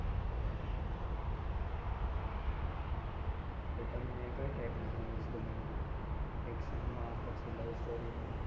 એટલે તમને કઈ type ના movies ગમે? Action માં પછી love story માં